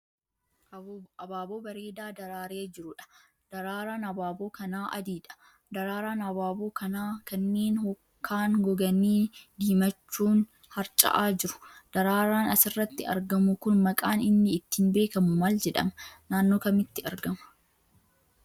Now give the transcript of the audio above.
Abaaboo bareedaa daraaree jiruudha. Daraaraan abaaboo kanaa adiidha. Daraaraan abaaboo kanaa kanneen kaan goganii diimachuun harca'aa jiru. Daraaraan asirratti argamu kun maqaan inni ittin beekamu maal jedhama?, Naannoo kamitti argama?